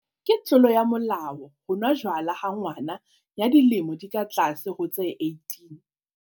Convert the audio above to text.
Ke tlolo ya molao ho nwa jwala ha ngwana ya dilemo di ka tlase ho tse 18.